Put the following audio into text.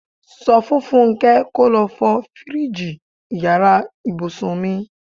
Sọ fún Fúnké kò lọ fọ fíríìjiì ìyára ibùsùn mi.